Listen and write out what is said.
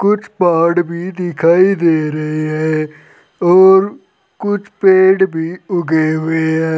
कुछ पहाड़ भी दिखाई दे रहे है और कुछ पेड़ भी उगे हुए हैं।